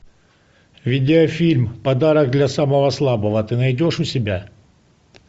видеофильм подарок для самого слабого ты найдешь у себя